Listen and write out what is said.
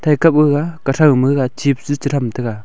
thai kap gaga kathau ma gag chips ja cha tham taga.